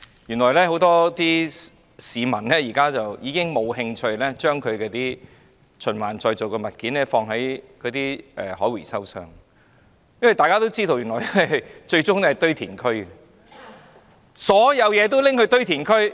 原來很多市民已經再無興趣將可循環再造的物料放入回收箱，因為大家也知道這些物料最終也是落入堆填區。